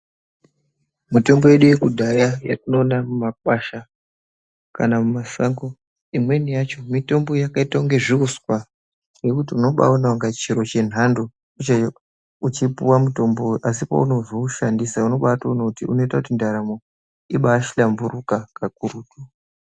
Mitombo yedu yekudhaya yatinoona mumakwasha kana mumashango, imweni yacho mitombo yakaita unge zviuswa ngekuti unobaatoone unga chiro chenhando che uchipuwa mutombowo asi pounozoushandisa unobatoone kuti unoita kuti ndaramo, ibaahlamburuka kakurutu.